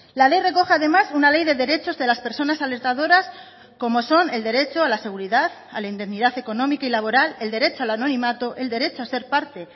la ley recoge además una ley de derechos de las personas alertadoras como son el derecho a la seguridad a la indemnidad económica y laboral el derecho al anonimato el derecho a ser parte